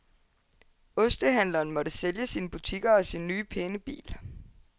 Ostehandleren måtte sælge sine butikker og sin nye, pæne bil.